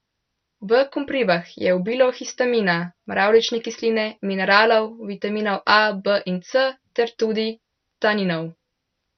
V koprivah je obilo histamina, mravljične kisline, mineralov, vitaminov A, B in C ter tudi taninov.